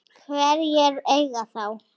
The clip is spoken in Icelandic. Hverjir eiga þá?